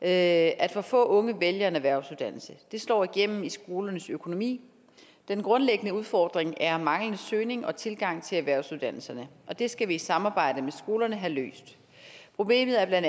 at at for få unge vælger en erhvervsuddannelse det slår igennem i skolernes økonomi den grundlæggende udfordring er manglende søgning og tilgang til erhvervsuddannelserne og det skal vi i samarbejde med skolerne have løst problemet er bla